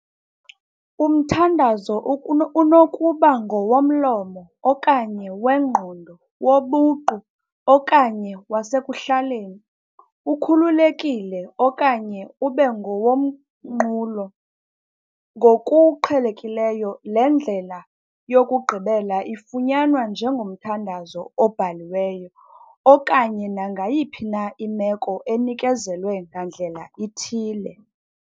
Umthandazo ukuno unokuba "ngowomlomo" okanye "wengqondo", "wobuqu" okanye "wasekuhlaleni", "ukhululekile" okanye "ube ngowomnqulo", ngokuqhelekileyo le ndlela yokugqibela ifunyanwa njengomthandazo obhaliweyo okanye nangayiphi na imeko enikezelwe ngandlela ithile.